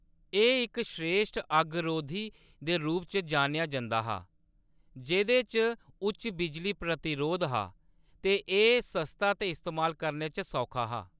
एह्‌‌ इक श्रेश्ठ अग्गरोधी दे रूप च जानेआ जंदा हा, जेह्‌‌‌दे च उच्च बिजली प्रतिरोध हा, ते एह्‌‌ सस्ता ते इस्तेमाल करने च सौखा हा।